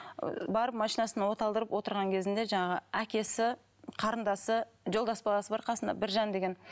барып машинасын от алдырып отырған кезінде жаңағы әкесі қарындасы жолдас баласы бар қасында біржан деген